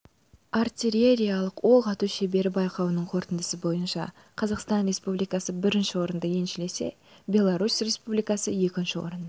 артиллериялық оқ ату шеберлері байқауының қорытындысы бойынша қазақстан республикасы бірінші орынды еншілесе беларусь республикасы екінші орынды